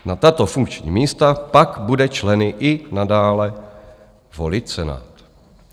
Na tato funkční místa pak bude členy i nadále volit Senát.